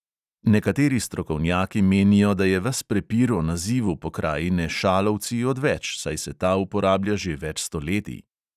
Nekateri strokovnjaki menijo, da je ves prepir o nazivu pokrajine šalovci odveč, saj se ta uporablja že več stoletij.